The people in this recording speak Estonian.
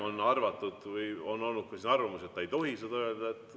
On olnud ka arvamus, et ta ei tohi seda öelda.